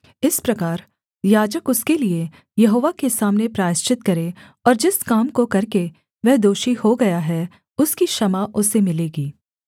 इस प्रकार याजक उसके लिये यहोवा के सामने प्रायश्चित करे और जिस काम को करके वह दोषी हो गया है उसकी क्षमा उसे मिलेगी